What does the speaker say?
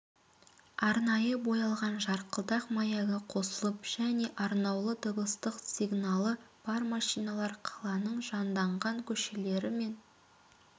арнайы боялған жарқылдақ маягі қосылып және арнаулы дыбыстық сигналы бар машиналар қаланың жанданған көшелері мен